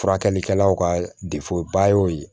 Furakɛlikɛlaw ka ba y'o ye